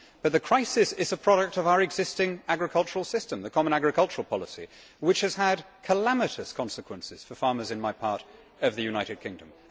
But the crisis is a product of our existing agricultural system the common agricultural policy which has had calamitous consequences for farmers in my part of the United Kingdom.